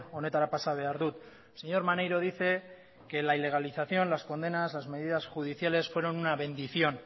honetara pasa behar dut señor maneiro dice que la ilegalización las condenas las medidas judiciales fueron una bendición